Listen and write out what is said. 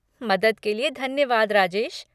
मदद के लिए धन्यवाद राजेश।